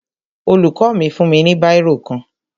Olùkọ́ mi fún mi ní bírò kan